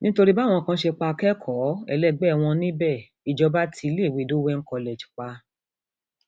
nítorí báwọn kan ṣe pa akẹkọọ ẹlẹgbẹ wọn níbẹ ìjọba ti iléèwé dowen college pa